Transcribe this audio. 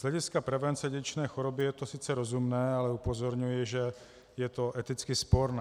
Z hlediska prevence dědičné choroby je to sice rozumné, ale upozorňuji, že je to eticky sporné.